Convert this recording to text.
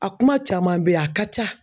A kuma caman bɛ yen a ka ca